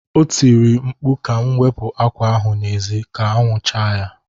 O tiri mkpu ka m wepụ akwa ahụ n'ezi ka anwụ chaa ya